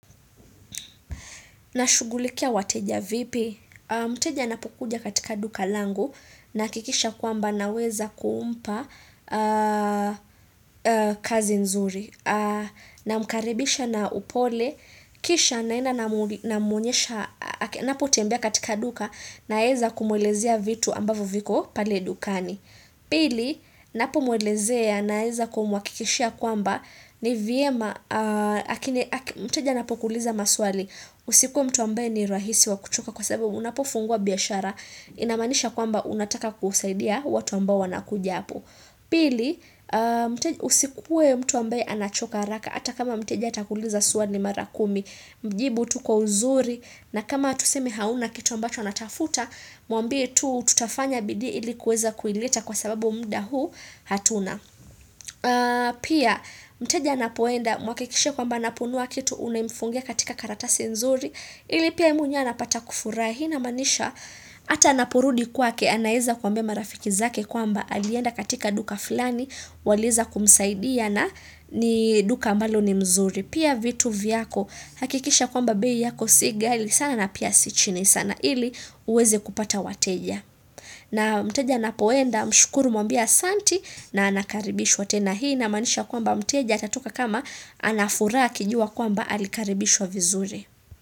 Nashughulikia wateja vipi, mteja anapokuja katika duka langu nahakikisha kwamba naweza kumpa kazi nzuri, namkaribisha na upole, kisha naenda namuonyesha, anapotembea katika duka naweza kumuelezea vitu ambavyo viko pale dukani. Pili, ninapomuelezea naweza kumhakikishia kwamba ni vyema, mteja anapokuuliza maswali, usikuwe mtu ambaye ni rahisi wa kuchoka kwa sababu unapofungua biashara, inamaanisha kwamba unataka kusaidia watu ambao wanakuja hapo. Pili, usikuwe mtu ambaye anachoka haraka Hata kama mteja atakuuliza swali mara kumi Mjibu tu kwa uzuri na kama tuseme hauna kitu ambacho anatafuta Mwambie tu tutafanya bidii ili kuweza kuileta kwa sababu muda huu hatuna Pia mteja anapoenda mhakikishie kwamba anaponunua kitu Unamfungia katika karatasi nzuri ili pia mwenyewe anapata kufurahi namaanisha Hata anaporudi kwake anaweza kuambia marafiki zake kwamba alienda katika duka fulani waliweza kumsaidia na ni duka ambalo ni mzuri pia vitu vyako hakikisha kwamba bei yako si ghali sana na pia si chini sana ili uweze kupata wateja na mteja anapoenda mshukuru muambie asantie na anakaribishwa tena hii inamaanisha kwamba mteja atatoka kama ana furaha akijua kwamba alikaribishwa vizuri.